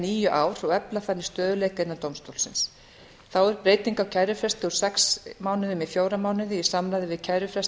níu ár og efla þannig stöðugleika innan dómstólsins þá eru breytingar á kærufresti úr sex mánuðum í fjóra mánuði í samræmi við kærufresti